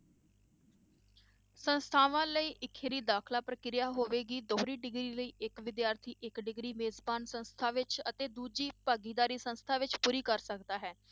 ਸੰਸਥਾਵਾਂ ਲਈ ਇਕਹਰੀ ਦਾਖਲਾ ਪ੍ਰਕਿਰਿਆ ਹੋਵੇਗੀ, ਦੋਹਰੀ degree ਲਈ ਇੱਕ ਵਿਦਿਆਰਥੀ ਇੱਕ degree ਜੇ ਮੇਜ਼ਬਾਨ ਸੰਸਥਾਵਾਂ ਵਿੱਚ ਅਤੇ ਦੂਜੀ ਭਾਗੀਦਾਰੀ ਸੰਸਥਾ ਵਿੱਚ ਪੂਰੀ ਕਰ ਸਕਦਾ ਹੈ